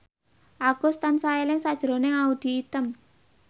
Agus tansah eling sakjroning Audy Item